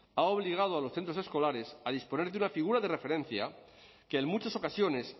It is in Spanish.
ha obligado a los centros escolares a disponer de una figura de referencia que en muchas ocasiones